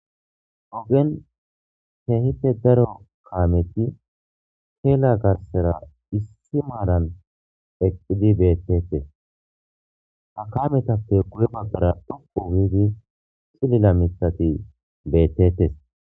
Oggen kehippe daaro caameti kella gersera issi maaran eqqidi bettetes ha caametappe guye baggara dhoqqu giidi ciililla miththati bettetess.